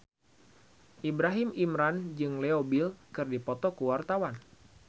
Ibrahim Imran jeung Leo Bill keur dipoto ku wartawan